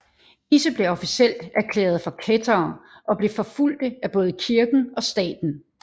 Disse blev officielt erklærede for kættere og blev forfulgte af både kirken og staten